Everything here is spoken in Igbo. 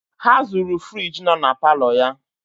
Ha zuru firiji nọ na paalọ ya.